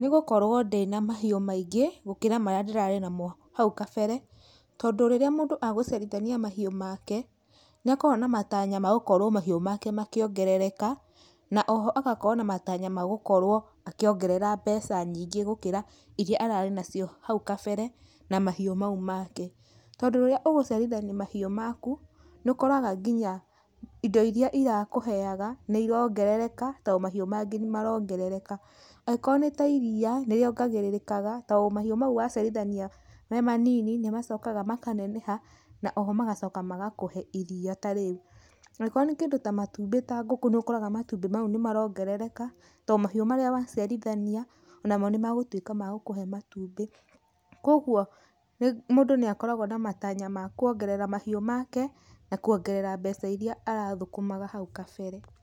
Nĩgũkorwo ndĩna mahiũ maingĩ gũkĩra marĩa ndĩrarĩ namo hau kabere, tondũ rĩrĩa mũndũ e gũciĩrithania mahiũ make nĩ akoragwo na matanya ma gũkorwo mahiũ make makĩongerereka na oho agakorwo na matanya ma gũkorwo akĩongerera mbeca nyingĩ gũkĩra ũrĩa ararĩ nacio hau kambere, na mahiu mau make, tondũ rĩrĩa ũgũciarithania mahiũ maku nĩ ũkoraga nginya indo irĩa irakũheyaga, nĩ irongerereka tondũ mahiũ mangĩ nĩ marongerereka, angĩkorwo nĩ ta iria nĩ rĩongererekaga tondũ mahiũ mau wa cĩarithania me manini, nĩmacokaga makaneneha na oho magacoka magakohe iria tarĩu, angĩkorwo nĩ kĩndũ ta matumbĩ ta ngũkũ nĩ ũkoraga matũmbĩ mau nĩ marongerereka, to mahiũ marĩa waciarithania o namo nĩ megũtwika magũkũhe matumbĩ, kwoguo mũndũ nĩ akoragwo na matanya ma kwongerera mahiũ make, na kwongerera mbeca iria arathũkũmaga hau gabere.